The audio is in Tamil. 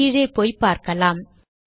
கீழே போய் பார்கலாம்